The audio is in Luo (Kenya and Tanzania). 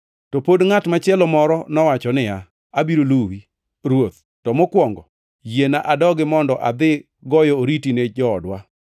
To pod ngʼat machielo moro nowacho niya, “Abiro luwi, Ruoth, to mokwongo, yiena adogi mondo adhi goyo oriti ni joodwa.”